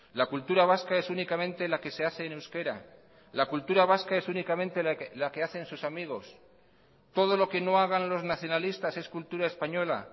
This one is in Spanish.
la cultura vasca es únicamente la que se hace en euskera la cultura vasca es únicamente la que hacen sus amigos todo lo que no hagan los nacionalistas es cultura española